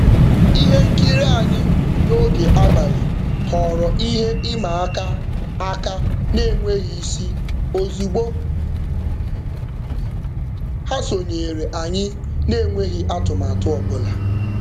Ihe nkiri anyị n'oge abalị ghọọrọ ihe ịma aka aka n'enweghị isi ozigbo ha sonyere anyị n'enweghị atụmatụ ọbụla.